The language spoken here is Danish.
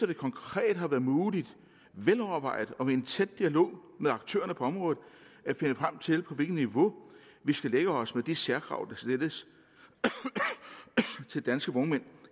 det konkret har været muligt velovervejet og gennem en tæt dialog med aktørerne på området at finde frem til på hvilket niveau vi skal lægge os med de særkrav der stilles til danske vognmænd